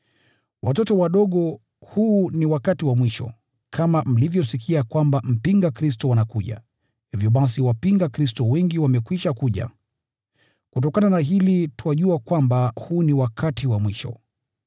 Watoto wadogo, huu ni wakati wa mwisho! Kama mlivyosikia kwamba mpinga Kristo anakuja, hivyo basi wapinga Kristo wengi wamekwisha kuja. Kutokana na hili twajua kwamba huu ni wakati wa mwisho.